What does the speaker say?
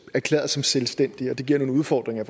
erklæret selvstændig og det giver nogle udfordringer